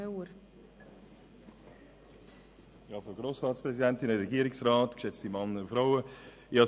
Die SVP-Fraktion unterstützt diesen Antrag.